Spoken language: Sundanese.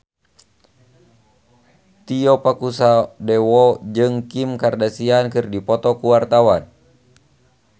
Tio Pakusadewo jeung Kim Kardashian keur dipoto ku wartawan